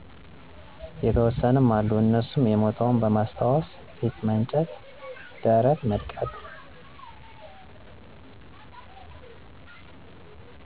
የተወሰኑ አሉ እነሱም የሞተውን በማስታወስ ፊት መንጨት፣ ደረት መድቃት።